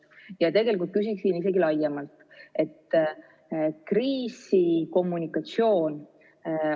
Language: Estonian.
Ma tegelikult küsin laiemalt kriisikommunikatsiooni kohta.